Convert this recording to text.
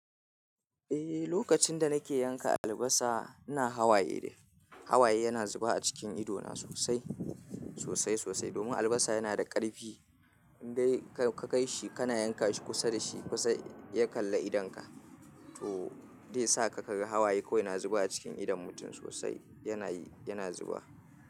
Eh, lokacin da nake yanka albasa ina hawaye. Hawaye yana zuba a cikin ido na sosai, sosai, sosai. Domin albasa yana da ƙarfi. In dai ka kai shi kana yanka shi kusa da shi, kusa ya kalla idonka. To zai saka ka ga hawaye kawai na zuba a cikin idon mutum sosai. Yana, yana zuba.